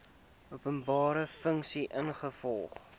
openbare funksie ingevolge